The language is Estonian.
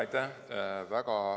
Aitäh!